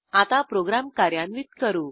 आता प्रोग्रॅम कार्यान्वित करू